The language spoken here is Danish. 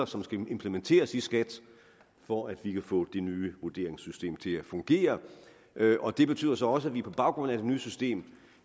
som skal implementeres i skat for at vi kan få det nye vurderingssystem til at fungere og det betyder så også at vi på baggrund af det nye system